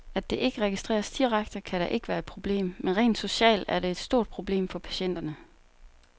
At det ikke registreres direkte, kan da ikke være et problem, men rent socialt er det et stort problem for patienterne.